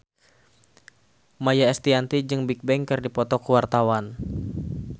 Maia Estianty jeung Bigbang keur dipoto ku wartawan